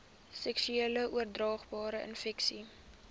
seksueel oordraagbare infeksies